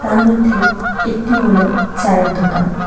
তার মধ্যে একটি হল চায়ের দোকান।